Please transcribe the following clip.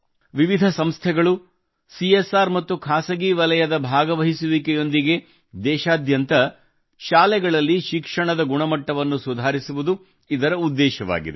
ವಿವಿಧ ಸಂಸ್ಥೆಗಳು ಸಿಎಸ್ಆರ್ ಮತ್ತು ಖಾಸಗಿ ವಲಯದ ಭಾಗವಹಿಸುವಿಕೆಯೊಂದಿಗೆ ದೇಶಾದ್ಯಂತ ಶಾಲೆಗಳಲ್ಲಿ ಶಿಕ್ಷಣದ ಗುಣಮಟ್ಟವನ್ನು ಸುಧಾರಿಸುವುದು ಇದರ ಉದ್ದೇಶವಾಗಿದೆ